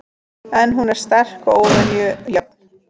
En hún er sterk og óvenju jöfn.